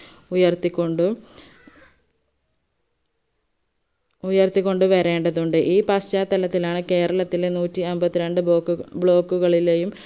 ഉയർത്തിക്കൊണ്ടു ഉയർത്തിക്കൊണ്ട് വരേണ്ടതുണ്ട് ഈ പശ്ചാത്തലത്തിലാണ് കേരത്തിലെ നൂറ്റിഅമ്പത്തിരണ്ട് block block കളിലെയും